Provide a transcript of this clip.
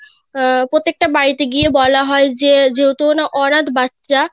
আহ প্রত্যেক টা বাড়িতে গিয়ে বলা হয় যে যেহেতু অনাথ বাচ্চা